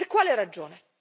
Per quale ragione?